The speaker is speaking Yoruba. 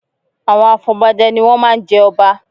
Àwọn afọbajẹ ni wọ́n má a ń jẹ ọba